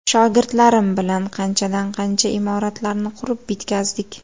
Shogirdlarim bilan qanchadan qancha imoratlarni qurib bitkazdik.